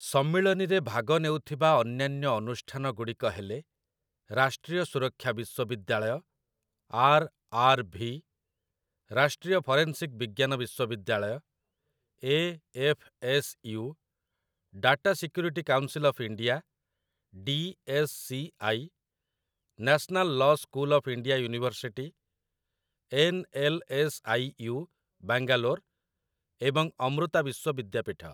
ସମ୍ମିଳନୀରେ ଭାଗନେଉଥିବା ଅନ୍ୟାନ୍ୟ ଅନୁଷ୍ଠାନଗୁଡ଼ିକ ହେଲେ ରାଷ୍ଟ୍ରୀୟ ସୁରକ୍ଷା ବିଶ୍ୱବିଦ୍ୟାଳୟ, ଆର୍. ଆର୍. ଭି., ରାଷ୍ଟ୍ରୀୟ ଫରେନସିକ୍ ବିଜ୍ଞାନ ବିଶ୍ୱବିଦ୍ୟାଳୟ, A. F. S. U., data security council of India, D S. C. I., national law school of India university, N. L. S. I. U., Bangalore ଏବଂ ଅମୃତା ବିଶ୍ୱବିଦ୍ୟାପୀଠ ।